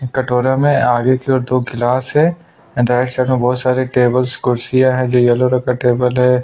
एक कटोरा में आगे की ओर गिलास है एंड राइट साइड में बहुत सारे टेबलेट्स कुर्सियां है जो यल्लो रंग का टेबल है।